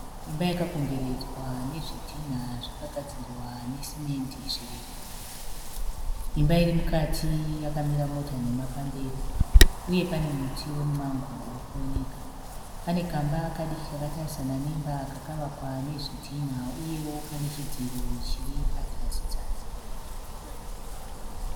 Imba yakakomberedzwa nezvidhinha zvakagadzirwa nesimendi zvirefu. Imba iri mukati yakamira mota pamberi uye pane muti weMumango uri kuoneka. Pane kamba kadiki kakatarisana nemba kakavakwa nezvidhinha uyewo kane chidziro chiri pazasi zasi.